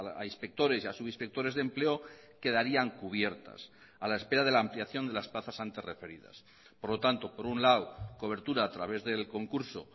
a inspectores y a subinspectores de empleo quedarían cubiertas a la espera de la ampliación de las plazas antes referidas por lo tanto por un lado cobertura a través del concurso